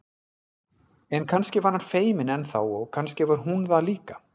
En kannski var hann feiminn enn þá og kannski var hún það líka.